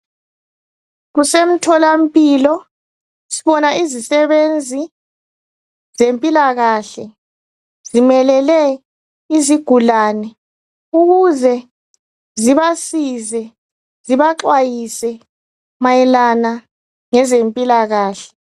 Kusemtholampilo, sibona izisebenzi zempilakahle zimelele izigulane, ukuze, zibasize, zibaxwayise mayelana ngezempilakahle.